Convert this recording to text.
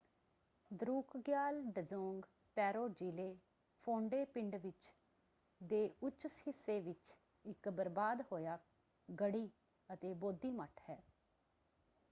ਦਰੁਕਗਿਆਲ ਡਜ਼ੋਂਗ ਪੈਰੋ ਜ਼ਿਲੇ ਫੋਂਡੇ ਪਿੰਡ ਵਿੱਚ ਦੇ ਉੱਚ ਹਿੱਸੇ ਵਿੱਚ ਇੱਕ ਬਰਬਾਦ ਹੋਇਆ ਗੜ੍ਹੀ ਅਤੇ ਬੋਧੀ ਮੱਠ ਹੈ।